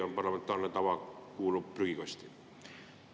Või parlamentaarne tava kuulub prügikasti?